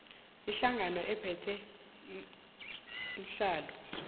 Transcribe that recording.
ihlangano ephethe iinhlalo